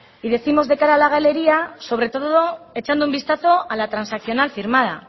y décimos de cara a la galería sobre todo echando un vistazo a la transaccional firmada